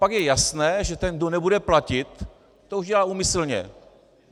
Pak je jasné, že ten, kdo nebude platit, to už dělá úmyslně.